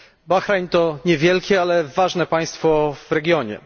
Bahrajn to niewielkie, ale ważne państwo w regionie.